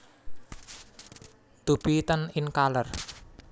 To be tan in color